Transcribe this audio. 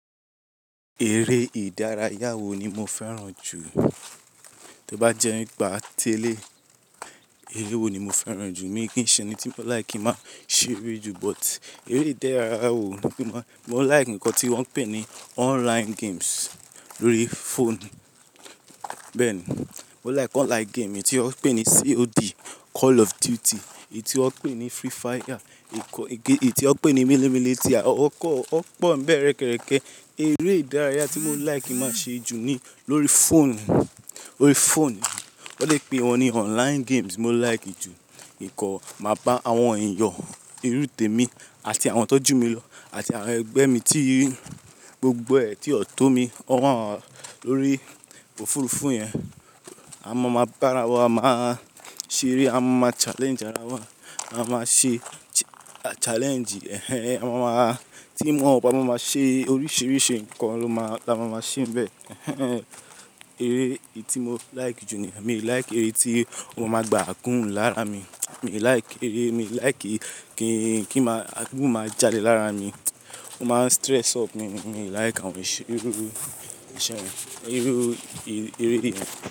Eré ìdárayá wo ni mo fẹ́ràn jù? Tí ó bá jẹ́ nípa ti ẹ́lẹ̀yi, eré wo ni mo fẹ́ràn jù? Mi kì í ṣe ẹni tí mo like máa ń ṣeré jù, but eré ìdárayá wo ni mo-- mo like nǹkan tí wọ́n ń pè ní online games lórí phone. Bẹ́ẹ̀ ni, mo like online game, èyí tí wọ́n ń pè ní COD, Call of Duty, èyí tí wọ́n ń pè ní Free Fire, èyí tí wọ́n ń pè ní Military, wọ́n pọ̀ n bẹ́ẹ̀ rẹkẹrẹkẹ. Eré ìdárayá tí mo like máa ń ṣe jù ni lórí phone, lórí phone. Wọ́n lè pè wọ́n ní online games mo like jù. Nìkan, màá bá àwọn ẹ̀yan, irú te mi àti àwọn tọ́jú mi lọ àti àwọn ẹgbẹ́ mi tí gbogbo ẹ̀ tí o tó mi, wọ́n wà lórí òfurufú yẹn. A máa máa bá ara wa máa ṣeré, a máa máa challenge ara wa, a máa ṣe challenge ẹh ehn, a máa máa-- team up á maa máa ṣe oríṣìíríṣìí nǹkan lo máa là máa maa ṣe n bẹ́ẹ̀. Eh ehn eré eyi tí mo like jù ni, mi ò like eré tí ọ máa maa gbá a gún lára mi. Mi ò like eré, mi ò like kí, kí máa, aagún máa jadè lára mi. Ó máa stress up mi, mi ò like àwọn iru, eré, eré yẹn.